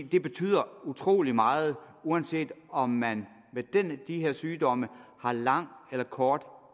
det betyder utrolig meget uanset om man med de her sygdomme har lang eller kort